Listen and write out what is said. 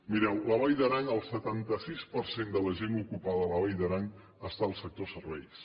mireu a la vall d’aran el setanta sis per cent de la gent ocupada a la vall d’aran està al sector serveis